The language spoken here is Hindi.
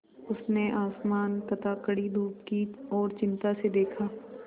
उसने आसमान तथा कड़ी धूप की ओर चिंता से देखा